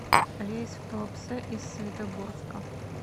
рейс в туапсе из светогорска